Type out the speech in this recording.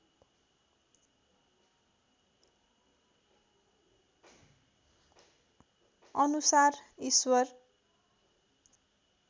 अनुसार ईश्वर